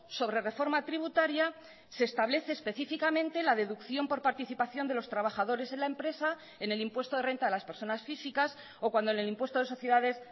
sobre reforma tributaria se establece específicamente la deducción por participación de los trabajadores en la empresa en el impuesto de renta de las personas físicas o cuando en el impuesto de sociedades